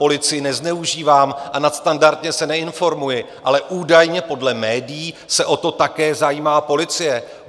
Policii nezneužíváním a nadstandardně se neinformuji, ale údajně podle médií se o to také zajímá policie.